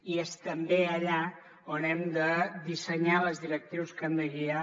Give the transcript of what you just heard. i és també allà on hem de dissenyar les directrius que han de guiar